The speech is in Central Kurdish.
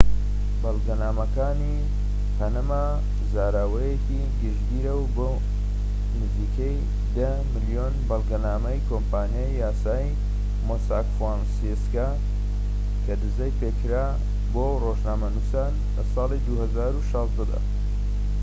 "بەڵگەنامەکانی پەنەما زاراوەیەکی گشتگیرە بۆ نزیکەی ١٠ ملیۆن بەڵگەنامەی کۆمپانیای یاسایی مۆساك فۆنسێکا کە دزەی پێکرا بۆ ڕۆژنامەنوسان لە ساڵی ٢٠١٦ دا